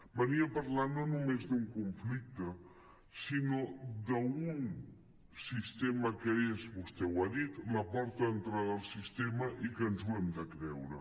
venia a parlar no només d’un conflicte sinó d’un sistema que és vostè ho ha dit la porta d’entrada al sistema i que ens ho hem de creure